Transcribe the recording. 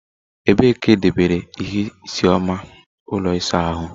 Ebee ka edobere ihe isii oma ụlọ ịsa ahụ?